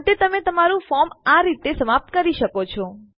અંતે તમે તમારું ફોર્મ આ રીતે સમાપ્ત કરી શકો છો